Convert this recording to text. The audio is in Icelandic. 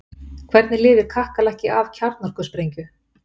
Hvernig lifir kakkalakki af kjarnorkusprengju?